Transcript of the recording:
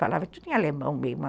Falava tudo em alemão mesmo.